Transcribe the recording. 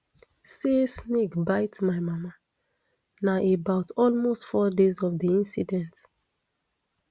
[say snake bite my mama] na about almost four days of di incident